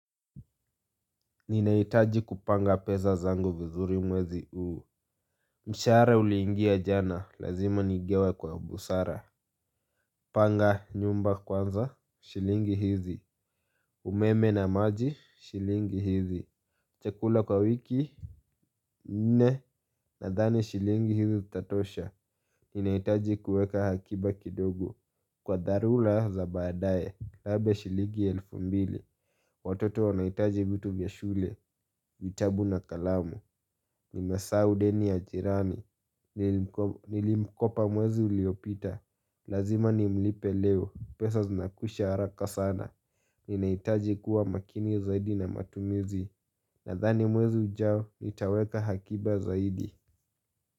Ninahitaji kupanga pesa zangu vizuri mwezi huu. Mshahara uliingia jana, lazima nigawe kwa busara. Panga nyumba kwanza, shilingi hizi. Umeme na maji, shilingi hizi. Chakula kwa wiki Nne. Nadhani shilingi hizi zitatosha. Ninahitaji kuweka akiba kidogo kwa dharura za baadaye. Labda shilingi elfu mbili. Watoto wanahitaji vitu vya shule, vitabu na kalamu. Nimesahau deni ya jirani. Nilimkopa mwezi uliopita. Lazima nimlipe leo. Pesa zinakwisha haraka sana. Ninahitaji kuwa makini zaidi na matumizi. Nadhani mwezi ujao nitaweka akiba zaidi.